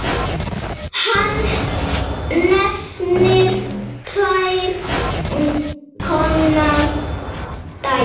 Hann nefnir tvenns konar dæmi